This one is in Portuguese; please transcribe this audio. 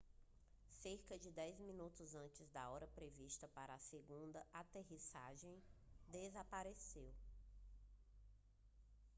cerca de dez minutos antes da hora prevista para a segunda aterrissagem desapareceu